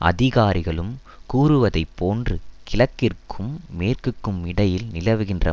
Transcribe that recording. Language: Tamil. அதிகாரிகளும் கூறுவதைப்போன்று கிழக்கிற்கும் மேற்கிற்குமிடையில் நிலவுகின்ற